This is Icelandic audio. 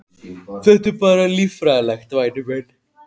Þetta er bara líffræðilegt, væni minn.